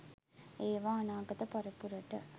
ඒවා අනාගත පරපුරට